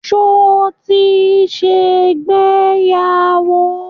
Ṣo ti ṣègbéyàwó?